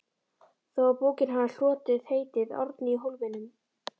þó að bókin hafi hlotið heitið Árni í Hólminum.